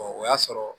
o y'a sɔrɔ